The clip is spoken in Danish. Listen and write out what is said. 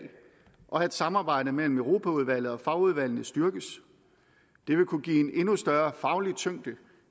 og at samarbejdet mellem europaudvalget og fagudvalgene styrkes det vil kunne give en endnu større faglig tyngde